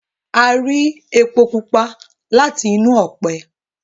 a rí epo pupa láti inú òpè